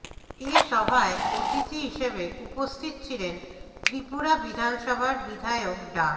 এ সভায় অতিথি হিসেবে উপস্থিত ছিলেন ত্রিপুরা বিধানসভার বিধায়ক ডা